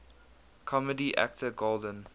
comedy actor golden